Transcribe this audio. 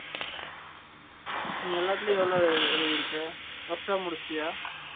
நீ எல்லாத்துளையும் எவ்ளோ எழுதிருக்கா workshop முடுச்சுடையா